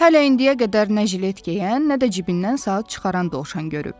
hələ indiyə qədər nə jilet geyən, nə də cibindən saat çıxaran dovşan görüb.